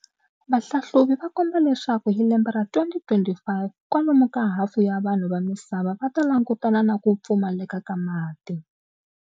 Vahlahluvi va komba leswaku hi lembe ra 2025, kwalomu ka hafu ya vanhu vamisava vata langutana na kupfumaleka ka mati.